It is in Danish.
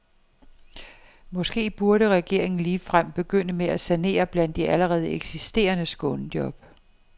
Måske burde regeringen ligefrem begynde med at sanere blandt de allerede eksisterende skånejob.